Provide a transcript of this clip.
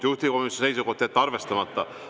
Juhtivkomisjoni seisukoht: jätta arvestamata.